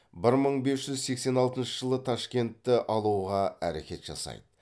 бір мың бес жүз сексен алтыншы жылы ташкентті алуға әрекет жасайды